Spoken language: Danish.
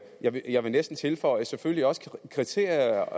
jeg vil jeg vil næsten tilføje selvfølgelig også kriterier